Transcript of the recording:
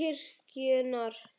kirkjunnar.